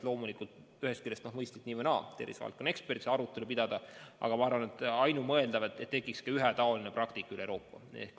Loomulikult on mõistlik tervisevaldkonna ekspertidel nii või naa see arutelu pidada, aga ma arvan, et ainumõeldav on, et tekiks ühetaoline praktika kogu Euroopas.